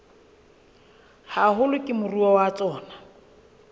haholo ke moruo wa tsona